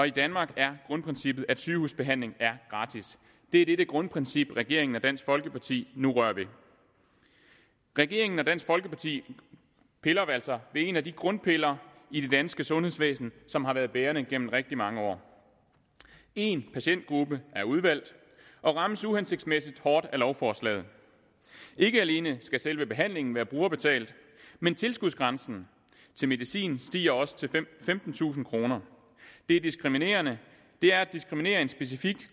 i danmark er grundprincippet at sygehusbehandling er gratis det er dette grundprincip regeringen og dansk folkeparti nu rører ved regeringen og dansk folkeparti piller altså ved en af de grundpiller i det danske sundhedsvæsen som har været bærende igennem rigtig mange år en patientgruppe er udvalgt og rammes uhensigtsmæssig hårdt af lovforslaget ikke alene skal selve behandlingen være brugerbetalt men tilskudsgrænsen til medicin stiger også til femtentusind kroner det er diskriminerende det er at diskriminere en specifik